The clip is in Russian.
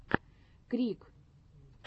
крик